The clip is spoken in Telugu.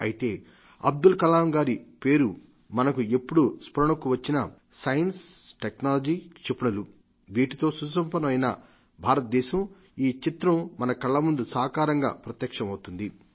అయితే అబ్దుల్ కలాం గారి పేరు మనకు ఎప్పుుడు స్మరణకు వచ్చినా సైన్స్ టెక్నాలజీ క్షిపణులు వీటితో సుసంపన్నం అయిన భారతదేశ ఈ చిత్రం మన కళ్ల ముందు సాకారంగా ప్రత్యక్షమవుతుంది